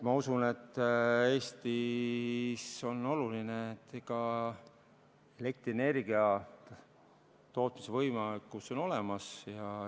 Ma usun, et Eestile on oluline, et elektrienergia tootmise võimekus oleks olemas.